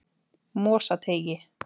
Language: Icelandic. Mosateigi